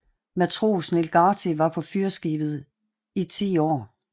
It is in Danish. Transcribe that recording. Matros Niels Gartig var på fyrskibet i 10 år